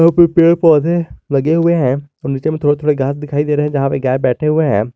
इधर कुछ पेड़ पौधे लगे हुए हैं और नीचे में थोड़े थोड़े घास दिखाई दे रहे हैं जहां पे गाय बैठे हुए है।